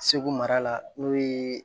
Segu mara la n'o ye